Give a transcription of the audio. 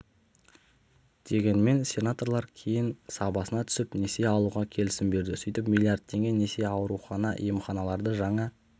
дегенмен сенаторлар кейін сабасына түсіп несие алуға келісім берді сөйтіп миллиард теңге несие аурухана емханаларды жаңа